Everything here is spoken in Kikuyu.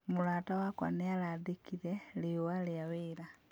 Mũrata wakwa nĩarandĩkire riũa rĩa wĩra